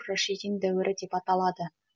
рашидин дәуірі деп аталады